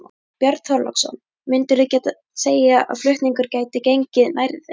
Björn Þorláksson: Myndirðu segja að flutningur gæti gengið nærri þeim?